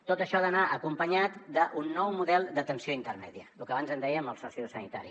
tot això ha d’anar acompanyat d’un nou model d’atenció intermèdia lo que abans en dèiem el sociosanitari